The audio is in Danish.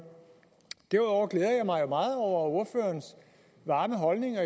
derudover glæder jeg mig jo meget over ordførerens varme holdninger